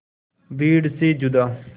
भीड़ से जुदा